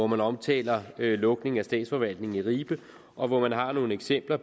man omtaler lukningen af statsforvaltningen i ribe og hvor man har nogle eksempler